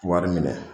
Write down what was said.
Wari minɛ